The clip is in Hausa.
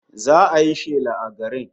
Za'a yi shela a garin